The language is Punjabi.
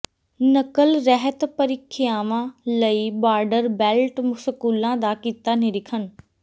ਨਕਲ ਰਹਿਤ ਪ੍ਰੀਖਿਆਵਾਂ ਲਈ ਬਾਰਡਰ ਬੈਲਟ ਸਕੂਲਾਂ ਦਾ ਕੀਤਾ ਨਿਰੀਖਣ